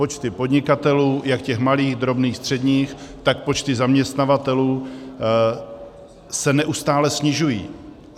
Počty podnikatelů, jak těch malých, drobných, středních, tak počty zaměstnavatelů se neustále snižují.